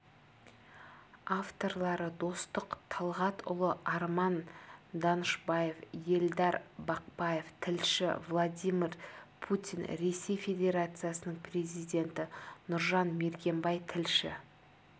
авторлары достық талғатұлы арман данышбаев елдар бақпаев тілші владимир путин ресей федерациясының президенті нұржан мергенбай тілші